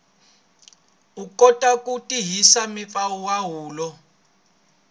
u kota ku tirhisa mimpfumawulo